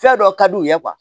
Fɛn dɔ ka d'u ye